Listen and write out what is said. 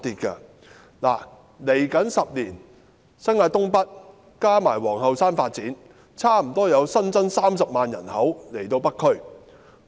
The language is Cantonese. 未來10年，新界東北加上皇后山的發展，差不多會為北區新增30萬人口。